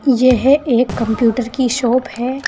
यह एक कंप्यूटर की शॉप है।